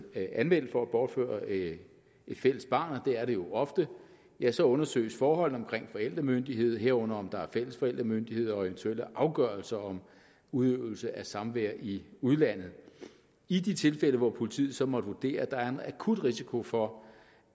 anmeldt for at bortføre et fælles barn og det er det jo ofte ja så undersøges forholdene omkring forældremyndigheden herunder om der er fælles forældremyndighed og eventuelle afgørelser om udøvelse af samvær i udlandet i de tilfælde hvor politiet så måtte vurdere at der er en akut risiko for